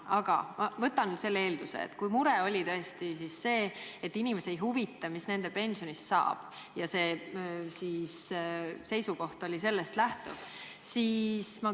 Aga ma võtan eelduseks, et tema mure oli tõesti see, et inimesi ei huvita, mis nende pensionist saab, ja teie seisukoht oli sellest lähtuv.